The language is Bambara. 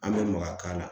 An bɛ maka k'a la